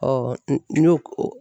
n'i y'o o